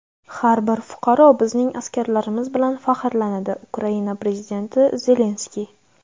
har bir fuqaro bizning askarlarimiz bilan faxrlanadi - Ukraina Prezidenti Zelenskiy.